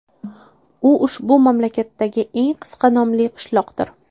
U ushbu mamlakatdagi eng qisqa nomli qishloqdir.